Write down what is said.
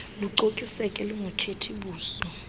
lucokiseke lungakhethi buso